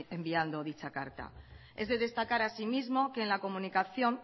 enviando dicha carta es de destacar así mismo que en la comunicación